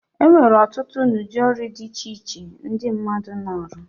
Enwere ọtụtụ na udi ọrụ di iche iche ndi mmadu na-arọ.